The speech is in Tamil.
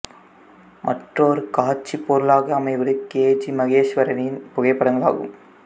மற்றொரு காட்சிப் பொருளாக அமைவது கே ஜி மகேஸ்வரியின் புகைப்படங்கள் ஆகும்